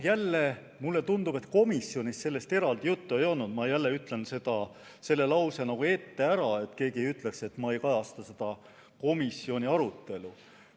Jälle, mulle tundub, et komisjonis sellest eraldi juttu ei olnud – ma taas ütlen selle lause ette ära, et keegi ei ütleks, et ma ei kajasta komisjoni arutelu.